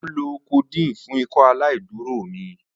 Mo nlo codeine fun Ikọaláìdúró mi.